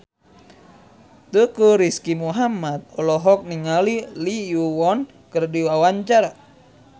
Teuku Rizky Muhammad olohok ningali Lee Yo Won keur diwawancara